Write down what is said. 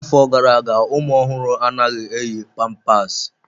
N'afọ gara aga, ụmụ ọhụrụ anaghị eyi pampasi.